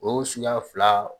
O suɲa fila